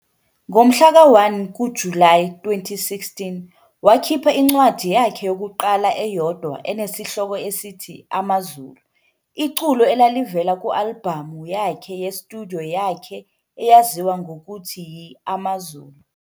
Ngomhlaka 1 kuJulayi 2016, wakhipha incwadi yakhe yokuqala eyodwa enesihloko esithi "Amazulu", iculo elalivela ku-albhamu yakhe ye-studio yakhe eyaziwa ngokuthi yi-Amazulu.